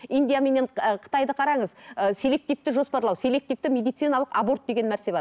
индия менен ы қытайды қараңыз ыыы селективті жоспарлау селективті медициналық аборт деген нәрсе бар